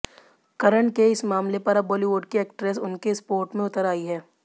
करण के इस मामले पर अब बॉलीवुड की एक्ट्रेस उनके स्पोर्ट में उतर आयी हैं